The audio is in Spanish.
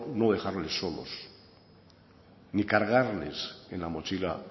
no dejarles solos ni cargarles en la mochila